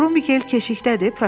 Krum Mikel keşiyətdədir?